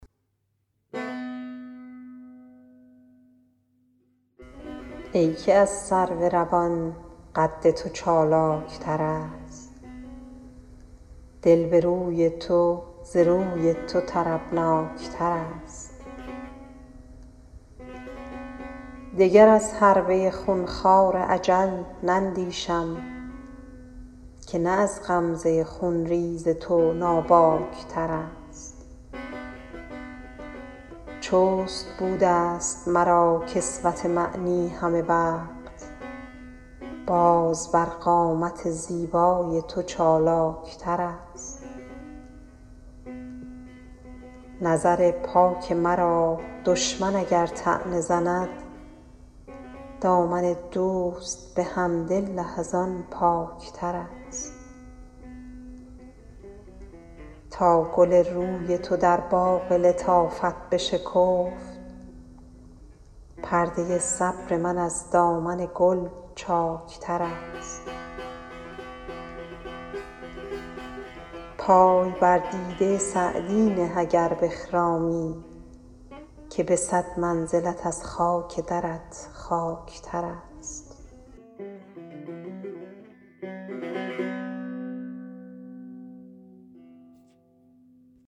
ای که از سرو روان قد تو چالاک ترست دل به روی تو ز روی تو طربناک ترست دگر از حربه خون خوار اجل نندیشم که نه از غمزه خون ریز تو ناباک ترست چست بوده ست مرا کسوت معنی همه وقت باز بر قامت زیبای تو چالاک ترست نظر پاک مرا دشمن اگر طعنه زند دامن دوست به حمدالله از آن پاک ترست تا گل روی تو در باغ لطافت بشکفت پرده صبر من از دامن گل چاک ترست پای بر دیده سعدی نه اگر بخرامی که به صد منزلت از خاک درت خاک ترست